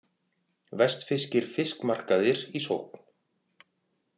Vestfirskir fiskmarkaðir í sókn